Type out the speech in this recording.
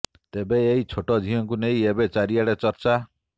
ତେବେ ଏହି ଛୋଟ ଝିଅଙ୍କୁ ନେଇ ଏବେ ଚାରିଆଡେ ଚର୍ଚ୍ଚା